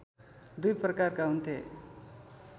दुई प्रकारका हुन्थे